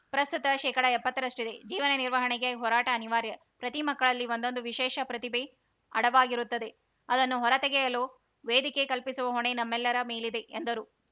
ಪ್ರಸ್ತುತ ಶೇಕಡಎಪ್ಪತ್ತರಷ್ಟಿದೆ ಜೀವನ ನಿರ್ವಹಣೆಗೆ ಹೋರಾಟ ಅನಿವಾರ್ಯ ಪ್ರತಿ ಮಕ್ಕಳಲ್ಲಿ ಒಂದೊಂದು ವಿಶೇಷ ಪ್ರತಿಭೆ ಅಡವಾಗಿರುತ್ತದೆ ಅದನ್ನು ಹೊರ ತೆಗೆಯಲು ವೇದಿಕೆ ಕಲ್ಪಿಸುವ ಹೊಣೆ ನಮ್ಮೆಲ್ಲರ ಮೇಲಿದೆ ಎಂದರು